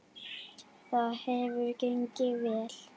Það hefur gengið vel.